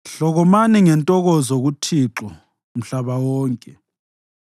Hlokomani ngentokozo kuThixo, mhlaba wonke.